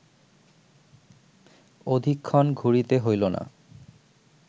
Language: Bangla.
অধিকক্ষণ ঘুরিতে হইল না